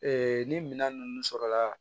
ni minan ninnu sɔrɔla